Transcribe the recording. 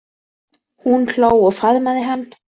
Hún hló og faðmaði hann.